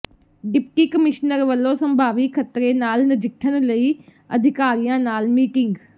deputy commissioner ਵਲੋਂ ਸੰਭਾਵੀ ਖ਼ਤਰੇ ਨਾਲ ਨਜਿੱਠਣ ਲਈ ਅਧਿਕਾਰੀਆਂ ਨਾਲ ਮੀਟਿੰਗ